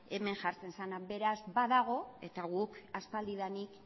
hemen jartzen zena beraz badago eta guk aspaldidanik